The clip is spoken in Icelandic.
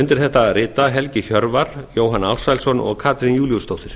undir þetta rita helgi hjörvar jóhann ársælsson og katrín júlíusdóttir